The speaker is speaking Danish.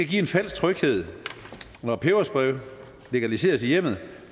give en falsk tryghed når peberspray legaliseres i hjemmet